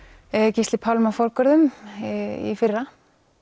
Gísli Pálmi forgörðum í fyrra